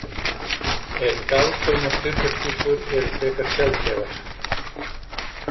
En galtómar skrifborðsskúffur eru frekar sjaldgæfar.